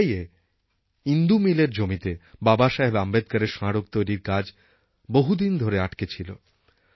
মুম্বইএ ইন্দু মিলএর জমিতে বাবাসাহেব আম্বেদকরের স্মারক তৈরির কাজ বহুদিন ধরে আটকে ছিল